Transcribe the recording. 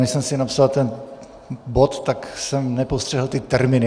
Než jsem si napsal ten bod, tak jsem nepostřehl ty termíny.